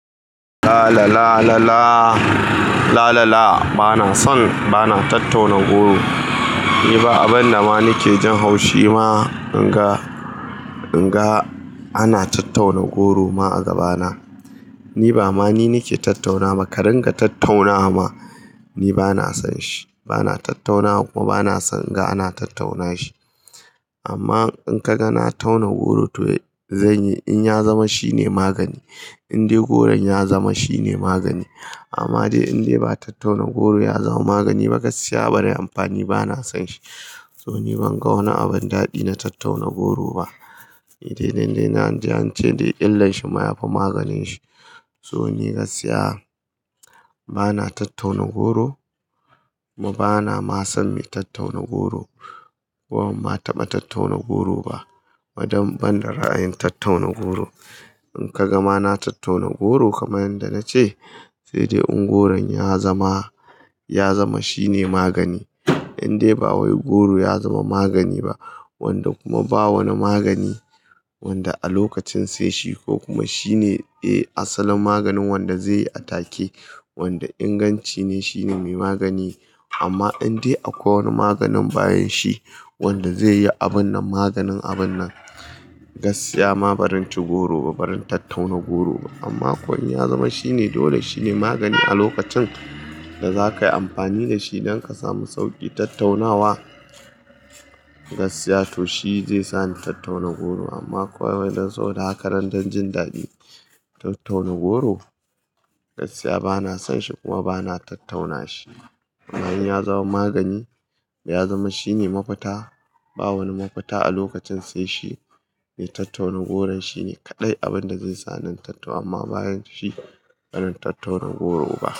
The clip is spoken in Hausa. La la la la la la la la. Bana son, bana tattaunan goro. Ni ba abin da ma nike jin haushi ma in ga, in ga ana tattauna goro ma a gabana. Ni ba ma ni nike tattaunawa. Ka ringa tattauna ma, ni bana son shi. Bana tattaunawa kuma bana son in ga ana tattauna shi. Amma in ka ga na tauna goro to zanyi in ya zama shine magani. In dai goron ya zama shine magani. Amma dai in dai ba tattauna goro ya zama magani ba, gaskiya barai amfani, bana son shi. To ni ban ga wani abin daɗi na tattauna goro ba. Ni dai nan da nan jiya an ce dai illar shi ma ya fi maganin shi. So ni gaskiya bana tattauna goro kuma bana ma son me tattauna goro. Ko banma taba tattauna goro ba. Madan ban da ra'ayin tattauna goro. In ka ga ma na tattauna goro kamar yanda nace sai dai in goron ya zama, ya zama shine magani. In dai ba wai goro ya zama magani ba wanda kuma ba wani magani wanda a lokacin sai shi ko kuma shine eh asalin maganin wanda zai yi a take. Wanda ingancin ne shine mai magani. Amma in dai akwai wani maganin bayan shi wanda zai yi abun nan maganin abun nan, gaskiya ma barin ci goro ba, barin tattauna goro ba. Amma ko in ya zama shine dole, shi ne magani a lokacin da zakayi amfani da shi don ka samu sauƙi tattaunawa, gaskiya to shi zai sa ni tattauna goro. Amma kawai wai dan saboda hakanan dan jin daɗi tau tauna goro, gaskiya bana son shi kuma bana tattauna shi. Kuma in ya zama magani ya zama shine mafita. Ba wani mafita a lokacin sai shi, me tattauna goron shine kaɗai abin da zai sa ni in tattauna amma bayan shi bana tattaunan goro ba.